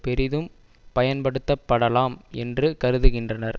பெரிதும் பயன்படுத்தப்படலாம் என்று கருதுகின்றனர்